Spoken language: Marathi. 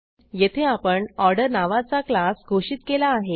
येथे आपण ऑर्डर नावाचा क्लास घोषित केला आहे